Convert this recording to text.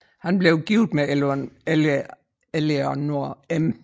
Han blev gift med Eleanor M